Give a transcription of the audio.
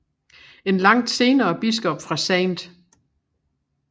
En langt senere biskop fra St